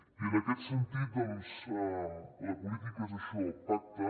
i en aquest sentit doncs la política és això pacte